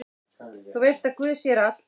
Þú veist að guð sér allt!